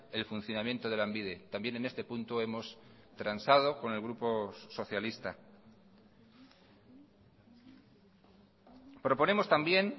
el funcionamiento de lanbide también en este punto hemos transado con el grupo socialista proponemos también